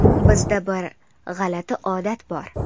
Bizda bir g‘alati odat bor.